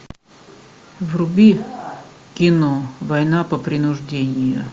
вруби кино война по принуждению